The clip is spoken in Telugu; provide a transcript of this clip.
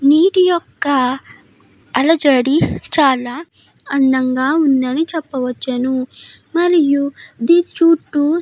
నీటి యొక్క అలజడి చాలా అందంగా ఉందని చెప్పవచ్చును మరియు దీని చుట్టూ --